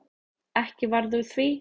Ekki varð úr því.